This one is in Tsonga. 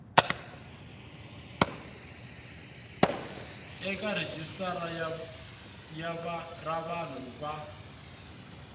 eka rejistara ya vanhu va